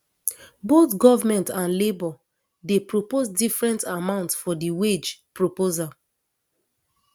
both goment and labour dey propose different amount for di wage proposal